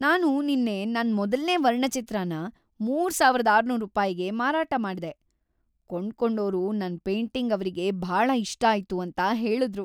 ನಾನು ನಿನ್ನೆ ನನ್ ಮೊದಲ್ನೇ ವರ್ಣಚಿತ್ರನ ಮೂರು ಸಾವಿರದ ಆರುನೂರು ರೂಪಾಯಿಗೆ ಮಾರಾಟ ಮಾಡ್ದೆ. ಕೊಂಡ್ಕೊಂಡೋರು ನನ್ ಪೇಂಟಿಂಗ್‌ ಅವ್ರಿಗೆ ಭಾಳ ಇಷ್ಟಾಯ್ತು ಅಂತ ಹೇಳುದ್ರು!